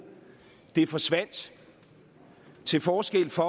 forsvandt til forskel fra